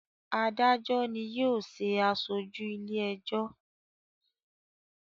Adajọ ni yóò ṣe aṣoju ile-ẹjọ.